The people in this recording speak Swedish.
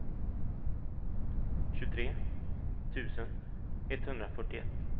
tjugotre tusen etthundrafyrtioett